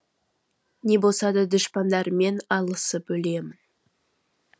не болса да дұшпандарыммен алысып өлемін